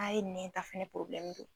N'a ye nɛta fɛnɛ don